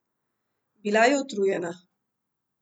Bila je utrujena.